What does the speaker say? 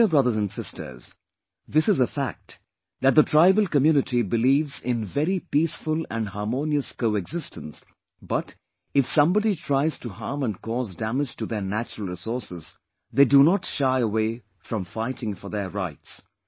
My dear brothers and sisters, this is a fact that the tribal community believes in very peaceful and harmonious coexistence but, if somebody tries to harm and cause damage to their natural resources, they do not shy away from fighting for their rights